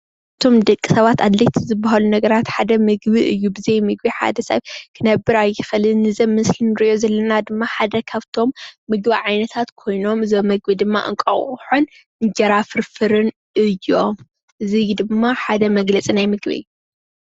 ንቶም ደቂሰባት ኣድለይቲ ዝበሃሉ ነገራት ሓደ ምግቢ እዩ። ብዘይ ምግቢ ሓደ ሰብ ኽነብር ኣይኽእልን። እዚ ኣብ ምስሊ እንሪኦ ዘለና ድማ ሓየ ኻፍቶም ምግቢ ዓይነታት ኾይኖም እዞም ምግቢ ድማ እንቋቁሖን እንጀራ ፍርፍርን እዮም። እዙይ ድማ ሓደ መግለፂ ናይ ምግቢ እዩ።